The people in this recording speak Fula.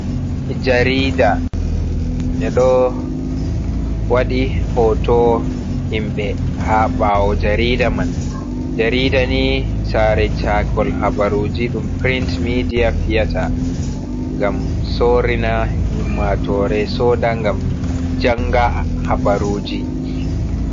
Jarida ɓeɗo wadi foto himɓɓe ha ɓawo jarida man, jarida ni sare cakol habaruji ɗum print media fiyata ngam sorina ummatore soda ngam janga habaruji.